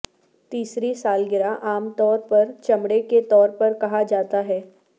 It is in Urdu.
تیسری سالگرہ عام طور پر چمڑے کے طور پر کہا جاتا ہے